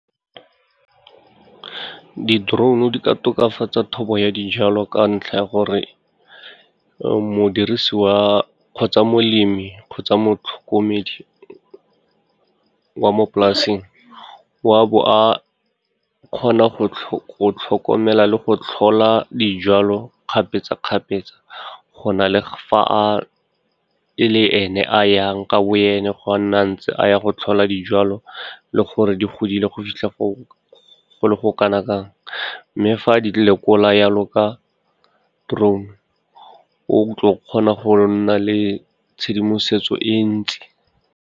Di-drone-u di ka tokafatsa thobo ya dijalo ka ntlha ya gore, mo dirisi wa, kgotsa molemi, kgotsa motlhokomedi wa mo polasing, wa bo a kgona go tlhokomela le go tlhola dijalo kgapetsa-kgapetsa go na le fa e le ene a yang ka bo ene go nna a ntse a ya go tlhola dijalo le gore di godile go fitlha go le go kanakang, mme fa di lekola jalo ka drone, o tlo go kgona go nna le tshedimosetso e ntsi.